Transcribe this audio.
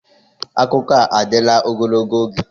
Akụkọ a adịla ogologo oge?